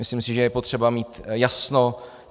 Myslím si, že je potřeba mít jasno.